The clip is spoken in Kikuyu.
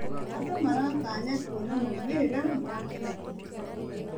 Andũ maratanya kuona maumĩrĩra ma kĩyo gitũ.